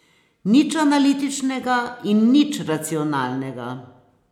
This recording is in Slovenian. Nič analitičnega in nič racionalnega.